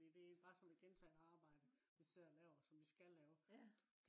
fordi det er bare sådan noget gentagende arbejde vi sidder og laver som vi skal lave